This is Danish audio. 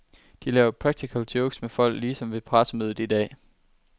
De laver practical jokes med folk, ligesom ved pressemødet i dag.